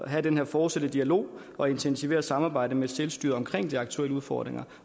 at have den her fortsatte dialog og intensivere samarbejdet med selvstyret omkring de aktuelle udfordringer